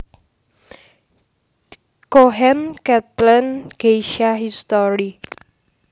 Cohen Kathleen Geisha History